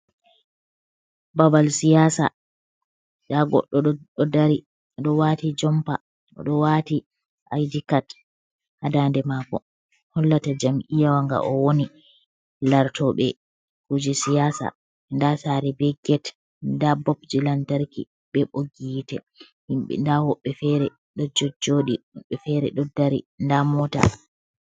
Babal siyasa, nda goddo ɗo dari wati jompa odo wati aydikat ha ndaaɗe mako, hollata jam'iyawa nga o woni. Lartobe kuje siyasa. Nda saare be get, nda bubji lantarki be ɓogi hiite. Himbe, nda woɓɓe fere do jojjoɗi, woɓɓe fere do dari, nda mota.